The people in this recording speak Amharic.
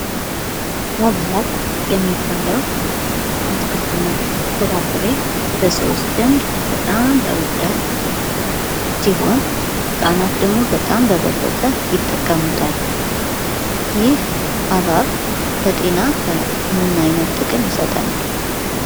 ሀብሀብ የሚባለው አትክልት እና ፍራፍሬ በሰዎች ዘንድ በጣም ተወዳጅ ሲሆን ህፃናት ደግሞ በጣም በበለጠ ይጠቀሙታል። ይህ ሀብሀብ ለጤና ምን አይነት ጥቅም ይሰጠናል?